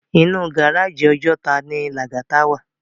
Inú gáráji Òjòtá ni Lagata wá